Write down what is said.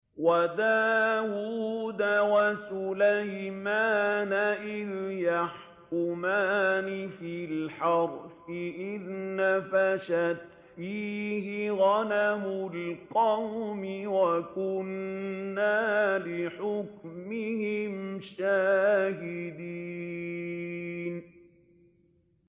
وَدَاوُودَ وَسُلَيْمَانَ إِذْ يَحْكُمَانِ فِي الْحَرْثِ إِذْ نَفَشَتْ فِيهِ غَنَمُ الْقَوْمِ وَكُنَّا لِحُكْمِهِمْ شَاهِدِينَ